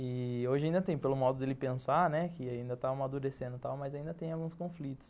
E hoje ainda tem, pelo modo de ele pensar, né, que ainda está amadurecendo e tal, mas ainda tem alguns conflitos.